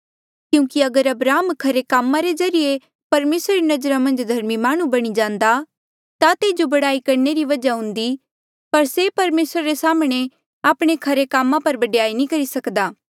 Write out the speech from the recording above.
क्यूंकि अगर अब्राहम खरे कामा रे ज्रीए परमेसरा री नजरा मन्झ धर्मी माह्णुं बणी जान्दा ता तेजो बडयाई करणे री वजहा हुन्दी पर से परमेसरा रे साम्हणें आपणे खरे कामा पर बडयाई नी सकदा